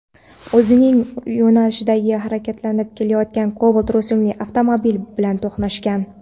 o‘zining yo‘nalishida harakatlanib kelayotgan Cobalt rusumli avtomobil bilan to‘qnashgan.